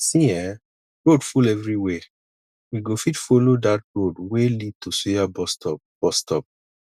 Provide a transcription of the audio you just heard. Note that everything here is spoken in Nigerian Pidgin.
see um road full everywhere we go fit follow dat road wey lead to suya bus stop bus stop